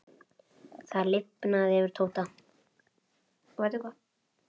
Það lifnaði yfir Tóta.